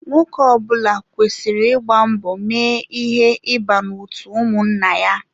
Nwoke ọbula kwesịrị ịgba mbọ mee ihe ịba n'otu ụmụnna ya.